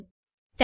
thank you